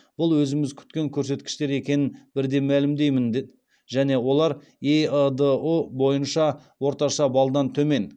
бұл өзіміз күткен көрсеткіштер екенін бірден мәлімдеймін және олар эыдұ бойынша орташа балдан төмен